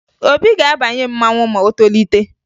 Obi ga-abanye mmanwụ ma o tolite